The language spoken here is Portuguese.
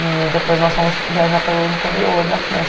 E depois nós fomos viajar pelo interior da França.